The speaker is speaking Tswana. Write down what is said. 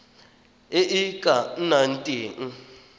e e ka nnang teng